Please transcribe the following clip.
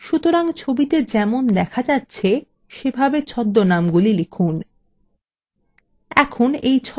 সুতরাং ছবিতে যেমন দেখা যাচ্ছে সেভাবে ছদ্মনামগুলি লিখুন